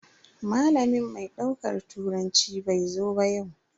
Malamin mai daukar turanci bai zo ba yau.